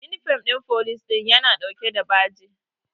Inifom ɗin police ya na ɗauke da bajo